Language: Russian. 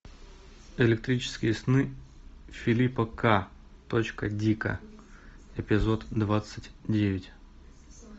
электрические сны филипа к точка дика эпизод двадцать девять